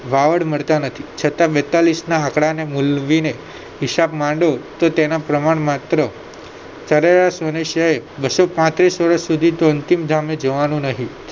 વાવડ મળતા નથી છતા બેતાલીશના આંકડાને મુલવીને હિસાબ માંડો તો તેના પ્રમાણ માત્ર સરેરાશ મનુષ્યએ બસો પાત્રીશ વર્ષ સુધીતો અંતિમધામે જવાનું નહીં